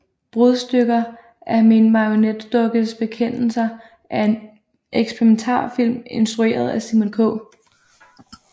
Brudstykker af min marionetdukkes bekendelser er en eksperimentalfilm instrueret af Simon K